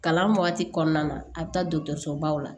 Kalan waati kɔnɔna na a bɛ taa dɔgɔtɔrɔso baw la